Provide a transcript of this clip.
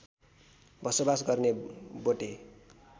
बसोवास गर्ने बोटे